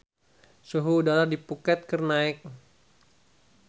Suhu udara di Phuket keur naek